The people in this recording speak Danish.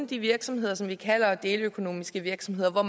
de virksomheder som vi kalder deleøkonomiske virksomheder